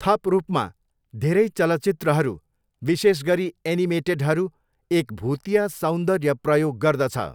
थप रूपमा, धेरै चलचित्रहरू, विशेष गरी एनिमेटेडहरू, एक भुतिया सौन्दर्य प्रयोग गर्दछ।